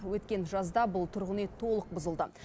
өткен жазда бұл тұрғын үй толық бұзылды